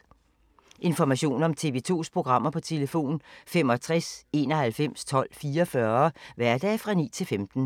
Information om TV 2's programmer: 65 91 12 44, hverdage 9-15.